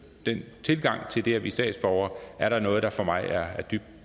den tilgang til det at blive statsborger er der noget der for mig er dybt